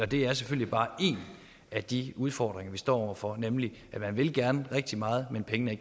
det er selvfølgelig bare en af de udfordringer vi står over for nemlig at man gerne vil rigtig meget men at pengene